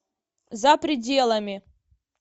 за пределами